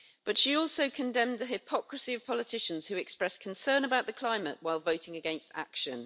But she also condemned the hypocrisy of politicians who express concern about the climate while voting against action.